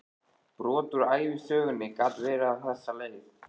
Brot úr ævisögunni gat verið á þessa leið